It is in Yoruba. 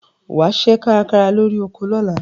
Wà á ṣiṣẹ́ kárakára lórí oko lọ́la.